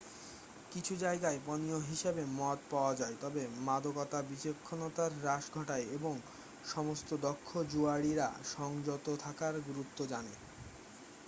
কিছু জায়গায় পানীয় হিসাবে মদ পাওয়া যায় তবে মাদকতা বিচক্ষণতার হ্রাস ঘটায় এবং সমস্ত দক্ষ জুয়াড়িরা সংযত থাকার গুরুত্ব জানে